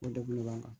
O degun de b'an kan